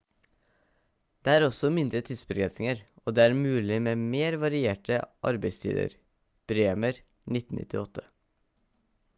det er også mindre tidsbegrensninger og det er mulig med mer varierte arbeidstider. bremer 1998